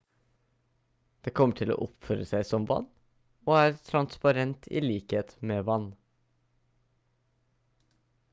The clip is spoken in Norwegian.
det kommer til å oppføre seg som vann og er transparent i likhet med vann